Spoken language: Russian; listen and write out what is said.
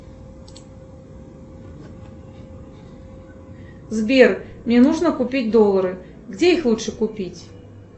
сбер мне нужно купить доллары где их лучше купить